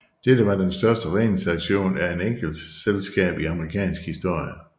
Dette var den største redningsaktion af et enkeltselskab i amerikansk historie